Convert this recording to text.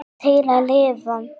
Til að lifa.